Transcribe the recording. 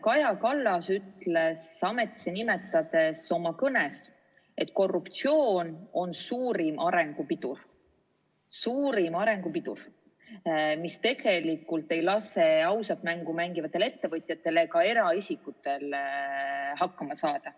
Kaja Kallas ütles ametisse nimetamisel oma kõnes, et korruptsioon on suurim arengu pidur, mis ei lase ausat mängu mängivatel ettevõtjatel ega eraisikutel hakkama saada.